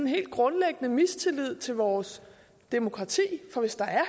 helt grundlæggende mistillid til vores demokrati for hvis der er